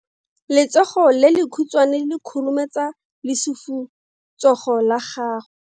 Letsogo le lekhutshwane le khurumetsa lesufutsogo la gago.